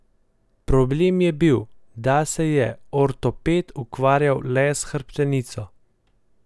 Problem je bil, da se je ortoped ukvarjal le s hrbtenico.